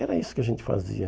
Era isso que a gente fazia.